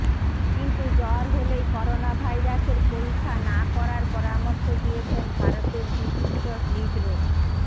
কিন্তু জ্বর হলেই করোনা ভাইরাসের পরীক্ষা না করার পরামর্শ দিয়েছেন ভারতের বিশিষ্ট হৃদরোগ